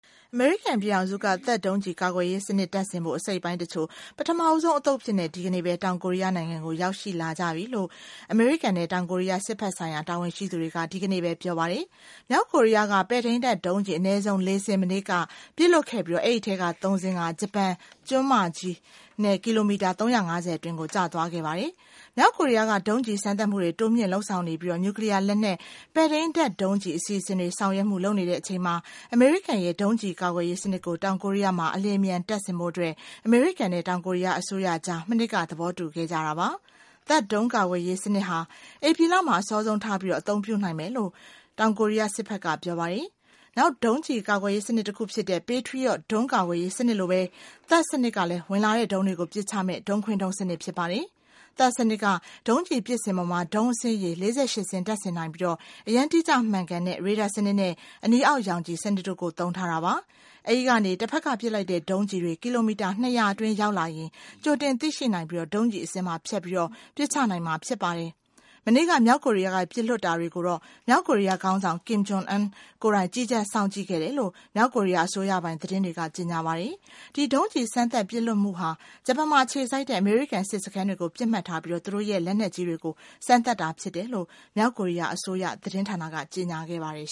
အမေရိကန်ပြည်ထောင်စုက THAAD ဒုံးကျဉ် ကာကွယ်ရေး စနစ် တပ်ဆင်ဖို့ အစိတ်အပိုင်းတချို့ ပထမဆုံးအသုတ် အဖြစ် ဒီကနေ့ ပဲ တောင်ကိုရီးယား နိုင်ငံ ကို ရောက်ရှိ လာကြပြီဖို့ အမေရိကန်နဲ့ တောင်ကိုရီးယား စစ်ဘက်ဆိုင်ရာ တာဝန်ရှိသူတွေက ဒီကနေ့ပဲ ပြောသွားပါတယ်။ မြောက်ကိုရီးယားက ပဲ့ထိန်းတပ် ဒုံးကျဉ် အနည်းဆုံး ၄ စင်း မနေ့က ပစ်လွှတ်ခဲ့ပြီး အဲဒီအထဲက သုံးစင်းဟာ ဂျပန်ကျွန်းမကြီး ကီလိုမီတာ ၃၅၀အတွင်းကို ကျသွားခဲ့ပါတယ်။ မြောက်ကိုရီယားက ဒုံးကျည်စမ်းသပ်မှုတွေ တိုးမြင့်လုပ်ဆောင်နေပြီး နျူ ကလီယားလက်နက် ပဲ့ထိန်းတပ်ဒုံးကျည် အစီအစဉ်တွေဆောင်ရွက်မှုတွေ လုပ်နေတဲ့အချိန်မှာ အမေရိကန်ရဲ့ ဒုံးကျည်ကာကွယ်ရေးစနစ်ကို တောင်ကိုရီယားမှာ အလျင်အမြန်တပ်ဆင်ဖို့ အမေရိကန်နဲ့ တောင်ကိုရီယားအစိုးရအကြား မနှစ်က သဘောတူခဲ့ကြတာပါ။ THAAD ဒုံးကာကွယ်ရေးစနစ်ဟာ ဧပြီလမှာ အစောဆုံးထားပြီး အသုံးပြုနိုင်မယ် လို့ တောင်ကိုရီယားစစ်ဘက်က ပြောပါတယ်။ နောက် ဒုံးကျည်ကာကွယ်ရေးစနစ်တခုဖြစ်တဲ့ Patriot ဒုံးကာကွယ်ရေးစနစ်လိုပဲ THAAD စနစ်ကလည်း ဝင်လာတဲ့ ဒုံးတွေကို ပစ်ချမယ့် ဒုံးခွင်းဒုံး စနစ်ဖြစ်ပါတယ်။ THAAD စနစ်က ဒုံးကျည်ပစ်စင်ပေါ်မှာ ဒုံး အစင်းရေ ၄၈ စင်း တပ်ဆင်ထားနိုင်ပြီး၊ အရမ်းတိကျမှန်ကန်တဲ့ ရေဒါစနစ်နဲ့ အနီအောက်ရောင်ခြည်စနစ်တို့ကို သုံးထားတာပါ။ အဲဒီကနေ တဘက်က ပစ်လိုက်တဲ့ ဒုံးကျည်တွေ ကီလိုမီတာ ၂၀၀ အတွင်း ရောက်လာရင် ကြိုတင်သိရှိနိုင်ပြီး ဒုံးကျည်အဆင်းမှာ ဖြတ်ပြီး ပစ်ချနိုင်မှာဖြစ်ပါတယ်။ မနေ့က မြောက်ကိုရီယားက ပစ်လွှတ်တာတွေကိုတော့ မြောက်ကိုရီယားခေါင်းဆောင် Kim Jong Un ကိုယ်တိုင်ကြီးကြပ်စောင့်ကြည့် ခဲ့တယ်လို့ မြောက်ကိုရီယား အစိုးရပိုင်သတင်းတွေက ကြေညာသွားပါတယ်။ ဒီ ဒုံးကျည်စမ်းသပ်ပစ်လွှတ်မှုဟာ ဂျပန်မှာ အခြေစိုက်တဲ့ အမေရိကန်စစ်စခန်းတွေကို ပစ်မှတ်ထားပြီး သူတို့ရဲ့ လက်နက်ကြီးတွေကို စမ်းသပ်တာဖြစ်တယ် လို့ မြောက်ကိုရီယားအစိုးရ သတင်းဌာနက ကြေညာခဲ့ပါတယ်